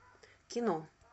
кино